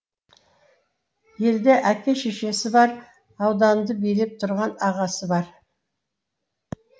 елде әке шешесі бар ауданды билеп тұрған ағасы бар